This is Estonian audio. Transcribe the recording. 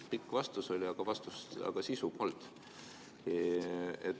Pikk vastus oli, aga sisu polnud.